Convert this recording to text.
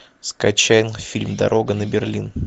скачай фильм дорога на берлин